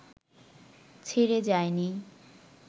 ছেড়ে যায়নি